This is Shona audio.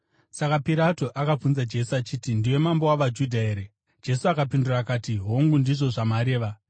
Saka Pirato akabvunza Jesu achiti, “Ndiwe mambo wavaJudha here?” Jesu akapindura akati, “Hongu, ndizvo zvamareva.”